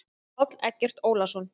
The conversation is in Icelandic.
Páll Eggert Ólason.